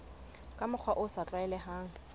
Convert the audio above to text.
ka mokgwa o sa tlwaelehang